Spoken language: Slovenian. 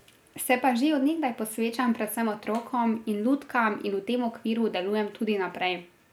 Se pa že od nekdaj posvečam predvsem otrokom in lutkam in v tem okviru delujem tudi naprej.